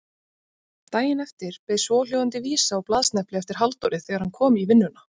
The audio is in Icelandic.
Daginn eftir beið svohljóðandi vísa á blaðsnepli eftir Halldóri þegar hann kom í vinnuna